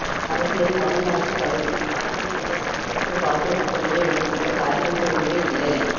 அரசியல் மாநில ஆட்சி கவிழ்ப்பில் சாதனைபுரிந்த காங்கிரசுக்கு பாஜ கூட்டணியை விமர்சிக்க தார்மீக உரிமை இல்லை